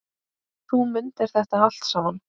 Þú mundir þetta allt saman.